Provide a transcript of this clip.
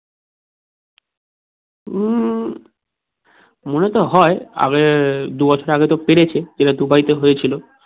উম মনে তো হয় আগে দুবছর আগে তো পেরেছে সেটা দুবাই তে হয়েছিল